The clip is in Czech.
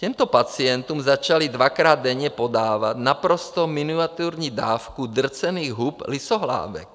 Těmto pacientům začali dvakrát denně podávat naprosto miniaturní dávku drcených hub lysohlávek.